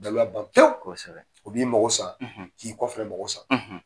Daluya ban pewu o b'i mago sank'i kƆ fa na mako sa